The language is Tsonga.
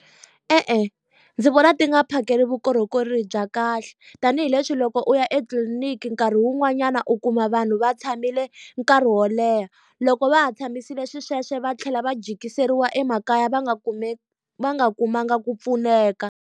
E-e ndzi vona ti nga phakeli vukorhokeri bya kahle, tanihileswi loko u ya etliliniki nkarhi wun'wanyana u kuma vanhu va tshamile nkarhi wo leha. Loko va ha tshamisile xisweswo va tlhela va jikiseriwa emakaya va nga va nga kumanga ku pfuneka.